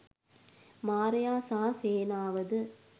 මාරයා සහ සේනාවද